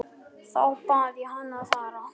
Þá bað ég hann að fara.